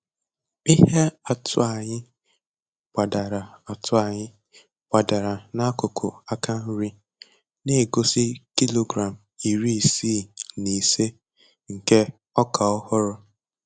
Ihe atụ anyị gbadara atụ anyị gbadara n'akụkụ aka nri, na-egosi kilogram iri isii na ise nke ọka ọhụrụ.